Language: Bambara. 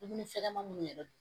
Dumuni fɛgɛman munnu yɛrɛ